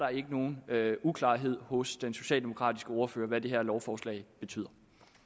nogen uklarhed hos den socialdemokratiske ordfører om hvad det her lovforslag betyder